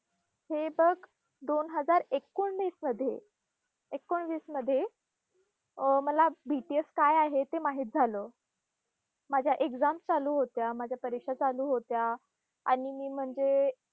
हे बघ, दोन हजार एकोणीसमध्ये, एकोणवीसमध्ये अं मला BTS काय आहे ते माहित झालं. माझ्या exams चालू होत्या, माझ्या परीक्षा चालू होत्या आणि मी म्हणजे